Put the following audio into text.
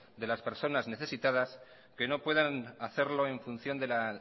de las personas necesitadas que no puedan hacerlo en función de la